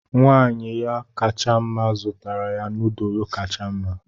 Nwanyị ya kacha mma zụtara ya noodlu kacha mma.